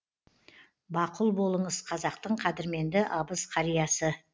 бақұл болыңыз қазақтың қадірменді абыз қариясы